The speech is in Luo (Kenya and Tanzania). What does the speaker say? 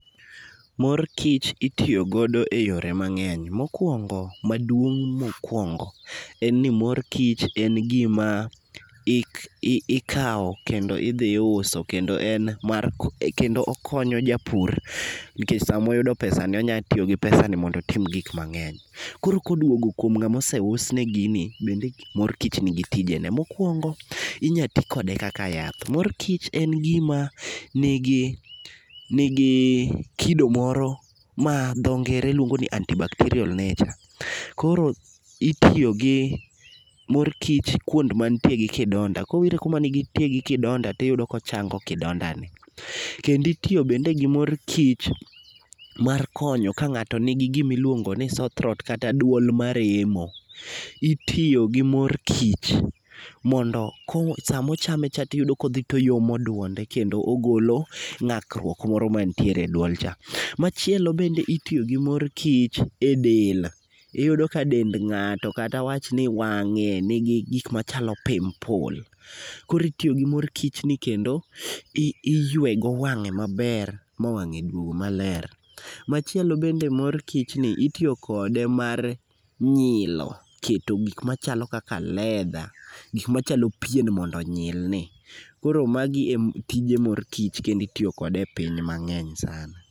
Mor kich itiyo godo e yore mang'eny mokwongo maduong' makwongo, en ni mor kich en gima ik i ikaw kendo idhi iuso kendo en mar kony kendo okonyo japur nikech samoyudo pesani onya tiyo gi pesani mondo otim gik mang'eny. Koro koduogo kuom ng'amose usne gini, bende mor kich nigi tijene. Mokwongo, inya ti kode kaka yath, mor kich en gima nigi nigi kido moro ma dho ngere luongo ni antibacterial nature. Koro itiyo gi mor kich kwond mantie gi kidonda, kowire kuma ni tie gi kidonda tiyudo kochango kidonda ni. Kendi itiyo bende gi mor kich mar konyo ka ng'ato nigi gimi iluongo ni sore throat kata duol maremo. Itiyo gi mor kich, mondo ko samochame cha tiyudo koyomo dwonde kendo ogolo ng'akruok moro mantiere e duol cha. Machielo bende itiyo gi mor kich e del, iyudo ka dend ng'ato kata awach ni wang'e nigi gik machalo pimpul, koritiyo gi mor kich ni kendo i iywe go wang'e maber ma wang'e duog maler. Machielo bende mor kich ni itiyo kode mar nyilo, keto gik machalo kaka leather gik machalo pien mondo onyilni. Koro magi e tije mor kich kendi itiyo kode e piny mang'eny sana